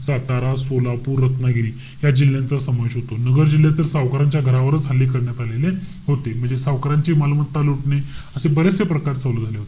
सातारा, सोलापूर, रत्नागिरी या जिल्ह्यांचा समावेश होता. नगर जिल्ह्यात तर सावकारांच्या घरावरच हल्ले करण्यात आलेले होते. म्हणजे सावकारांची मालमत्ता लुटणे, असे बरेचसे प्रकार चालू झाले होते.